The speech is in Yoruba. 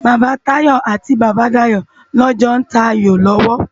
Baba Tayo ati Baba Dayo lò jò n tá áyó lòwò